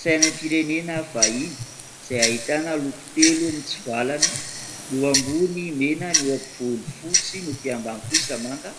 Saina am-pirenena vahiny izay hahitana loko telo, mitsovalana ny eo ambony mena, ny eo am-povoan'ny fotsy ny etỳ ambany kosa manga